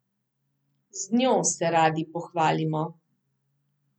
Z njo se radi pohvalimo.